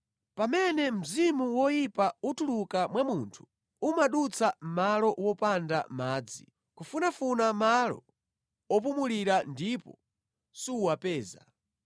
“Pamene mzimu woyipa utuluka mwa munthu, umadutsa malo wopanda madzi kufunafuna malo opumulira ndipo suwapeza.